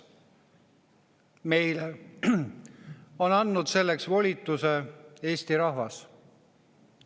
Meile on andnud selleks volituse Eesti rahvas.